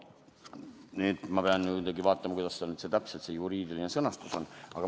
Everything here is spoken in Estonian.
Nüüd ma pean muidugi vaatama, kuidas see juriidiline sõnastus täpselt oli.